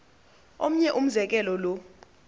omnye umzekelo lo